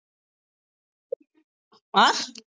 அஹ்